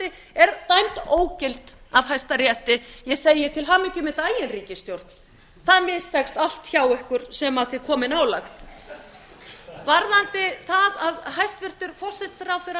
er dæmd ógild af hæstarétti ég segi til hamingju með daginn ríkisstjórn það mistekst allt hjá ykkur sem þið komið nálægt varðandi það að hæstvirtur forsætisráðherra